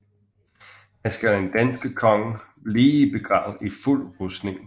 Her skal en dansk konge ligge begravet i fuld rustning